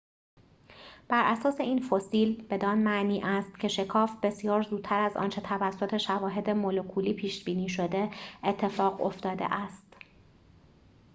براساس این فسیل بدان معنی است که شکاف بسیار زودتر از آنچه توسط شواهد مولکولی پیش‌بینی شده اتفاق افتاده است